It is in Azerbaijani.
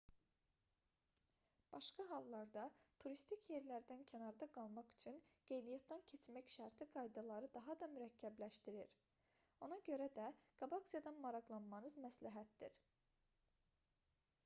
başqa hallarda turistik yerlərdən kənarda qalmaq üçün qeydiyyatdan keçmək şərti qaydaları daha da mürəkkəbləşdirir ona görə qabaqcadan maraqlanmanız məsləhətdir